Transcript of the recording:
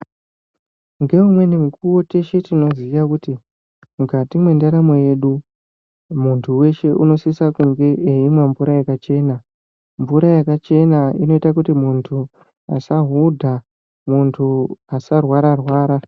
Ngeumweni mukuwo teshe tinoziya kuti mukati mwendaramo yedu muntu weshe unosisa kunge eimwa mvura yakachena. Mvura yakachena inoite kuti muntu asahudha, muntu asarwara-rwara.